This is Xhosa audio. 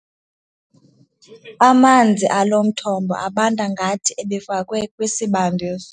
Amanzi alo mthombo abanda ngathi ebefakwe kwisibandisi.